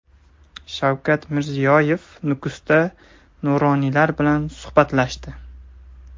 Shavkat Mirziyoyev Nukusda nuroniylar bilan suhbatlashdi.